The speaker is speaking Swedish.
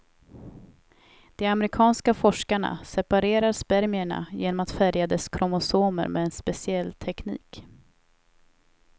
De amerikanska forskarna separerar spermierna genom att färga dess kromosomer med en speciell teknik.